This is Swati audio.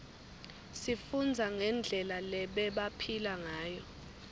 sifundza ngendlela lebebaphila ngayo